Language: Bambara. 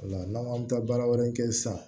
O la n'an bɛ taa baara wɛrɛ kɛ sisan